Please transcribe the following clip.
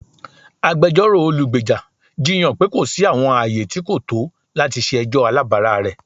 Agbẹjọro olugbeja jiyan pe ko si awọn aaye ti ko to lati ṣe ẹjọ alabara rẹ.